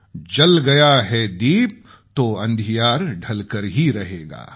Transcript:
जल गया है दीप तो अँधियार ढलकर ही रहेगा